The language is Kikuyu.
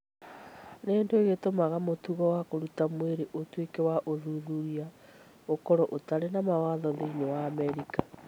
Nĩ kĩĩ gĩtũmaga mũtugo wa kũruta mwĩrĩ ũtuĩke wa ũthuthuria ũkorũo ũtarĩ na mawatho thĩinĩ wa Amerika?